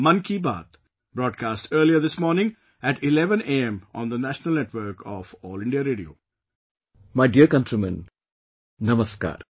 My dear countrymen, Namaskar